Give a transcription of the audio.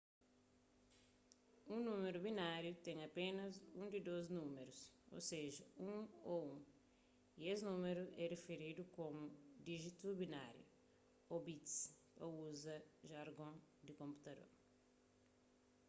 un númeru bináriu ten apénas un di dôs valoris ô seja 1 ô 1 y es númeru é riferidu komu díjitus binárius ô bits pa uza jargon di konputador